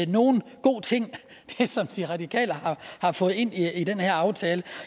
nogen god ting som de radikale har fået ind i den her aftale